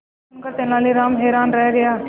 यह सुनकर तेनालीराम हैरान रह गए